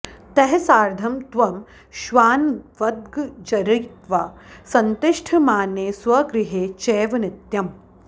तैः सार्धं त्वं श्वानवद्गर्जयित्वा संतिष्ठमाने स्वगृहे चैव नित्यम्